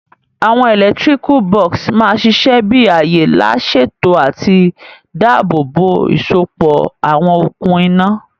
Àwon electrical box ma sisẹ bi àyè lá sèto àti dáàbò bò ìsopọ̀ àwon okùn iná